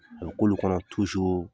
A bɛ k'olu kɔnɔ